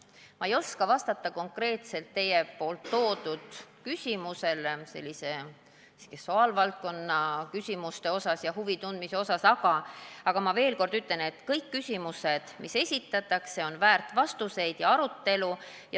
Ma ei oska vastata teie esitatud küsimusele, mis puudutab seksuaalvaldkonna vastu huvi tundmist, aga ma ütlen veel kord, et kõik küsimused, mis esitatakse, on väärt vastuseid ja arutelu.